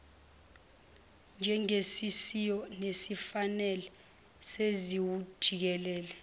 njengesiyiso nesifanele nesiwujikelele